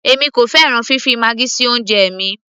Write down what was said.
èmi kò fẹ́ràn fifi maggi sí oúnjẹ mi